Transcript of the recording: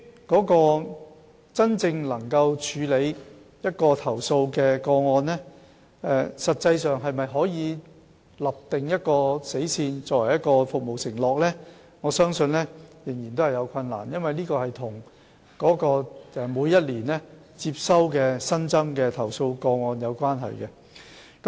但是，就處理投訴個案而言，實際上可否訂立一條死線作為服務承諾，我相信仍然有困難，因為這與每年接收的新增投訴個案有關。